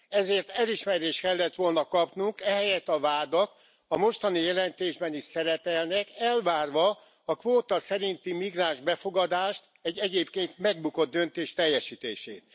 Ezért elismerést kellett volna kapnunk, ehelyett a vádak a mostani jelentésben is szerepelnek, elvárva a kvóta szerinti migráns befogadást, egy egyébként megbukott döntés teljesítését.